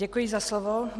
Děkuji za slovo.